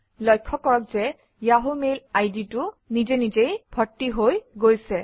লক্ষ্য কৰক যে য়াহু মেইল আইডিটো নিজেনিজেই ভৰ্তি হৈ গৈছে